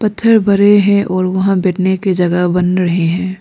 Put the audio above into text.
पत्थर बड़े हैं और वहां बैठने के जगह बन रहे हैं।